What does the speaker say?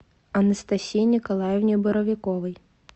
анастасии николаевне боровиковой